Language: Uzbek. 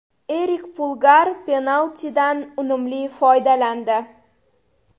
Erik Pulgar penaltidan unumli foydalandi.